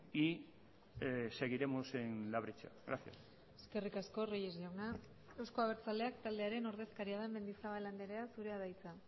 y seguiremos en la brecha gracias eskerrik asko reyes jauna euzko abertzaleak taldearen ordezkaria den mendizabal andrea zurea da hitza